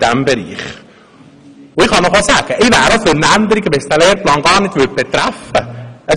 Ich kann Ihnen sagen, ich wäre auch für eine Änderung, wenn es diesen Lehrplan gar nicht betreffen würde.